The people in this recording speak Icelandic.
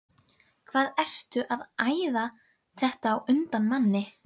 HVAÐ ERTU AÐ ÆÐA ÞETTA Á UNDAN MANNI!